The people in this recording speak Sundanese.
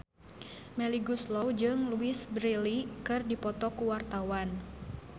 Melly Goeslaw jeung Louise Brealey keur dipoto ku wartawan